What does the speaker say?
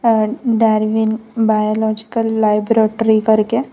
Charles Darwin biological laboratory करके।